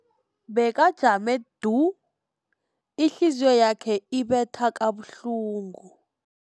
Bekajame du, ihliziyo yakhe ibetha kabuhlungu.